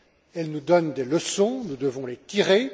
Elle nous donne des leçons, que nous devons tirer.